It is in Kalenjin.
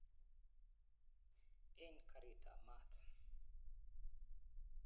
Eng karitab maat.